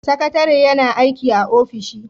Sakatare yan aiki a ofishi.